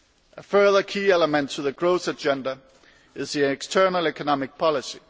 A further key element to the growth agenda is the external economic policy.